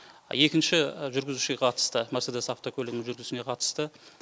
екінші жүргізушіге қатысты мерседес автокөлігінің жүргізушісіне қатысты